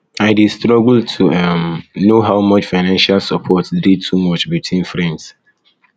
i dey struggle to um know how um much financial support dey too um much between friends